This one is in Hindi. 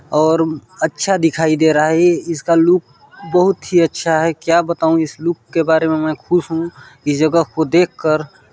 और अच्छा दिखाई दे रहा है इसका लुक बहुत ही अच्छा है क्या बताऊं इस लुक के बारे में मैं खुश हूँ इस जगह को देख कर--